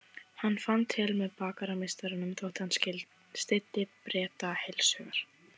Hann fann til með bakarameistaranum þótt hann styddi Breta heilshugar.